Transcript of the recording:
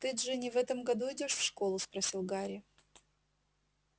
ты джинни в этом году идёшь в школу спросил гарри